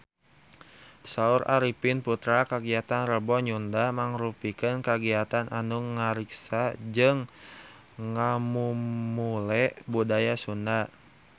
Saur Arifin Putra kagiatan Rebo Nyunda mangrupikeun kagiatan anu ngariksa jeung ngamumule budaya Sunda